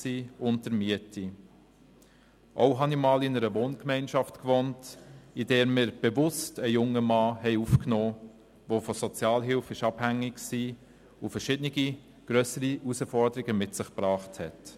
Auch habe ich einmal in einer Wohngemeinschaft gewohnt, in welcher wir bewusst einen jungen Mann aufgenommen haben, der von der Sozialhilfe abhängig war und verschiede- ne grössere Herausforderungen mit sich gebracht hat.